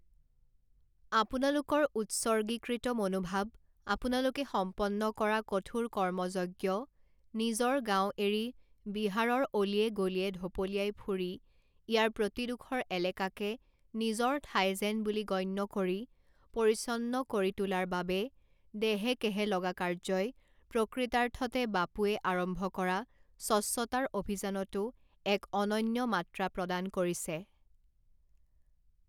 আপোনালোকৰ উত্সৰ্গীকৃত মনোভাৱ, আপোনালোকে সম্পন্ন কৰা কঠোৰ কৰ্মযজ্ঞ, নিজৰ গাঁও এৰি বিহাৰৰ অলিয়ে গলিয়ে ঢপলিয়াই ফুৰি ইয়াৰ প্ৰতিডোখৰ এলেকাকে নিজৰ ঠাই যেন বুলি গণ্য কৰি পৰিচ্ছন্ন কৰি তোলাৰ বাবে দেহেকেহে লগা কাৰ্যই প্ৰকৃতাৰ্থতে বাপুৱে আৰম্ভ কৰা স্বচ্ছতাৰ অভিযানতো এক অনন্য মাত্ৰা প্ৰদান কৰিছে।